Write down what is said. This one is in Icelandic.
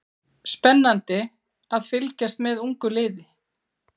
Spennandi að fylgjast með ungu liði